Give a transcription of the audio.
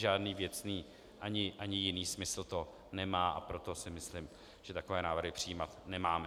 Žádný věcný ani jiný smysl to nemá, a proto si myslím, že takové návrhy přijímat nemáme.